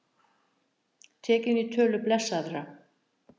Tekinn í tölu blessaðra